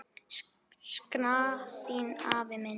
Sakna þín, afi minn.